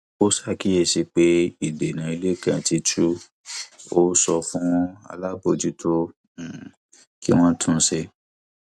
ó ṣàkíyèsí pé ìdènà ilé kan ti tu ó sọ fún alábòójútó um kí wọn tún un ṣe